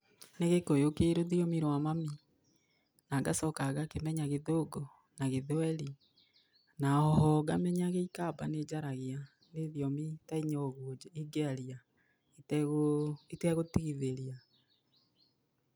Nĩ gĩkũyũ kĩ rũthiomi rwa mami, na ngacoka kangĩkĩmenya gĩthũngũ na gĩthweri, na oho ngamenya gĩikamba nĩjaragia, nĩ thiomi ta inya ũguo ingĩaria itegũ itegũtigithĩria.